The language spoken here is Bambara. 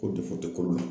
Ko kolo la